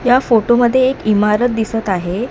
या फोटोमध्ये एक इमारत दिसत आहे.